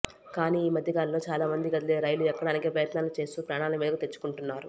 కానీ ఈ మధ్యకాలంలో చాల మంది కదిలే రైలు ఎక్కడానికి ప్రయత్నాలు చేస్తూ ప్రాణాల మీదకు తెచ్చుకుంటున్నారు